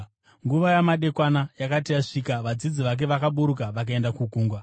Nguva yamadekwana yakati yasvika, vadzidzi vake vakaburuka vakaenda kugungwa,